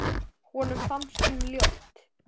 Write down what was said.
Honum fannst hún ljót.